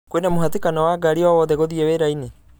kwina mũhatĩkano wa ngari o wothe gũthiĩ wĩra-inĩ